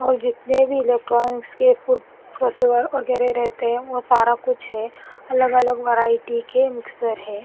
और जितने भी इलेक्ट्रॉनिक्स के फूड - प्रोसेवर वगैरह रहते है वो सारा कुछ है अलग अलग वैरायटी के मिक्सर है।